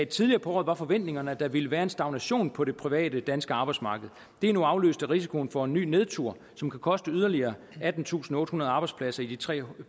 tidligere på året var forventningerne at der ville være en stagnation på det private danske arbejdsmarked det er nu afløst af risikoen for en ny nedtur som kan koste yderligere attentusinde og ottehundrede arbejdspladser i de tre